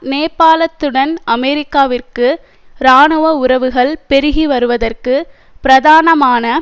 நேபாளத்துடன் அமெரிக்காவிற்கு இராணுவ உறவுகள் பெருகி வருவதற்கு பிரதானமான